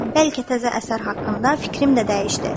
Bəlkə təzə əsər haqqında fikrim də dəyişdi."